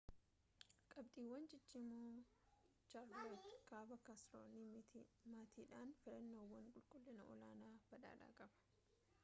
qabxiiwwan ciccimoo chaarlootte kaaba kaarooliinaa maatiidhaaf filannoowwan qulqullina-olaanaa badhaadhaa qaba